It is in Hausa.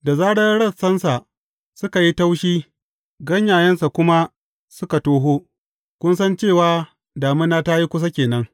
Da zarar rassansa suka yi taushi, ganyayensa kuma suka toho, kun san cewa damina ta yi kusa ke nan.